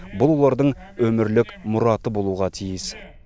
бұл олардың өмірлік мұраты болуға тиіс